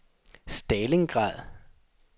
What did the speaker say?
Stalingrad